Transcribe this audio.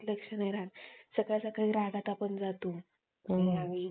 hmm